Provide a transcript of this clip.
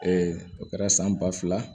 o kɛra san ba fila